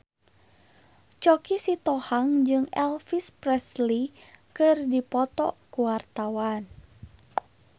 Choky Sitohang jeung Elvis Presley keur dipoto ku wartawan